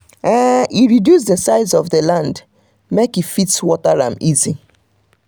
um e reduce the size of land make e fit water am easy. um